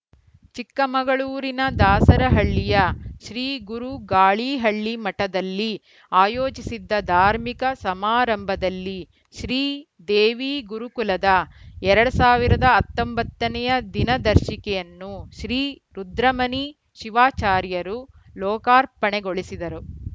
ಚಿಕ್ಕಮಗಳೂರಿನ ದಾಸರಹಳ್ಳಿಯ ಶ್ರೀಗುರು ಗಾಳಿಹಳ್ಳಿಮಠದಲ್ಲಿ ಆಯೋಜಿಸಿದ್ದ ಧಾರ್ಮಿಕ ಸಮಾರಂಭದಲ್ಲಿ ಶ್ರೀ ದೇವಿ ಗುರುಕುಲದ ಎರಡ್ ಸಾವಿರದ ಹತ್ತೊಂಬತ್ತ ನೆಯ ದಿನದರ್ಶಿಕೆಯನ್ನು ಶ್ರೀ ರುದ್ರಮುನಿ ಶಿವಾಚಾರ್ಯರು ಲೋಕಾರ್ಪಣೆಗೊಳಿಸಿದರು